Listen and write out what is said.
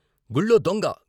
"గుళ్ళో దొంగ....